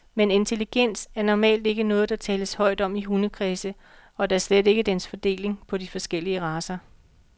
Men intelligens er normalt ikke noget, der tales højt om i hundekredse, og da slet ikke dens fordeling på de forskellige racer.